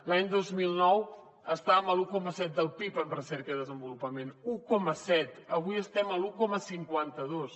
l’any dos mil nou estàvem a l’un coma set del pib en recerca i desenvolupament un coma set avui estem a l’un coma cinquanta dos